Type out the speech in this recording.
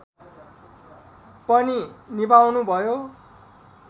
पनि निभाउनुभयो